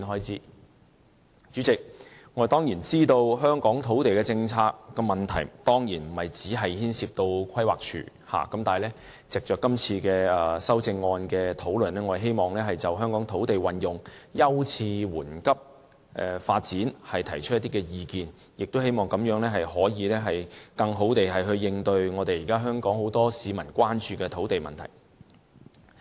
主席，我當然知道香港的土地政策問題，不僅牽涉規劃署，但我希望藉着今次修正案的討論，就香港土地運用的優次緩急發展提出一些意見，也希望這樣能夠更好地應對現時很多香港市民關注的土地問題。